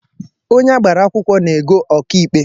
Onye agbara akwụkwọ na-ego ọka ikpe